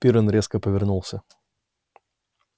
пиренн резко повернулся